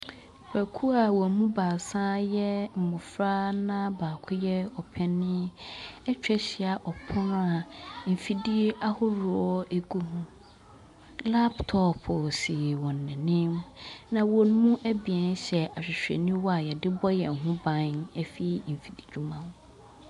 Nnipakuo a wɔn mu baasa yɛ mmofra na baako yɛ opanin atwa ahyia ɔpono mfidie ahoroɔ ɛgu ho. Laptɔp si wɔn anim na wɔn mu abien hyɛ ahwehweniwa a yɛde yɛn ho ban firi mfididwuma ho.